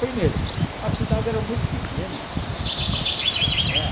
Primeiro, a cidade era muito pequena né.